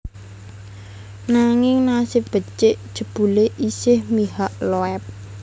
Nanging nasib becik jebulé isih mihak Loeb